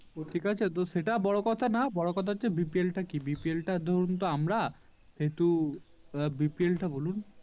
তো ঠিক আছে সেটা বড়ো কথা না বড়ো কথা হচ্ছে BPL টা কি BPL টা ধরুন তো আমরা সেহেতু BPL টা বলুন